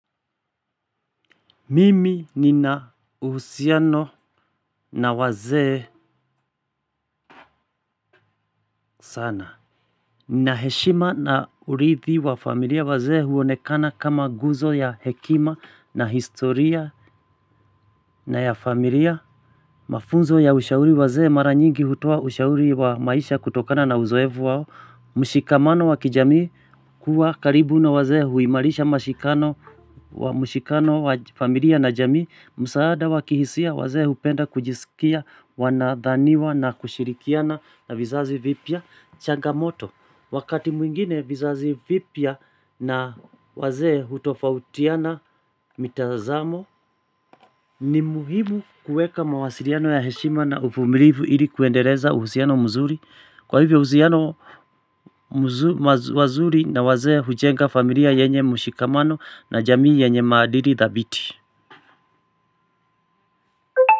Mimi nina uhusiano na wazee sana. Ninaheshima na urithi wa familia wazee huonekana kama nguzo ya hekima na historia na ya familia. Mafunzo ya ushauri wazee mara nyingi hutoa ushauri wa maisha kutokana na uzoevu wao. Mushikamano wa kijamii kuwa karibu na wazee huimarisha mashikano wa mushikano wa familia na jamii. Msaada wakihisia, wazee hupenda kujisikia wanadhaniwa na kushirikiana na vizazi vipya changamoto wakati mwingine vizazi vipya na wazee hutofautiana mitazamo. Ni muhimu kuweka mawasiliano ya heshima na uvumilivu ili kuendeleza uhusiano mzuri. Kwa hivyo usiano wazuri na wazee hujenga familia yenye mushikamano na jamii yenye maadili thabiti.